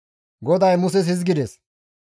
GODAY Muses hizgides,